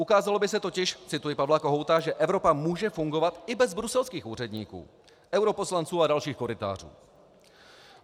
Ukázalo by se totiž, cituji Pavla Kohouta, že Evropa může fungovat i bez bruselských úředníků, europoslanců a dalších korytářů.